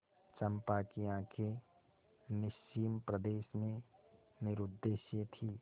चंपा की आँखें निस्सीम प्रदेश में निरुद्देश्य थीं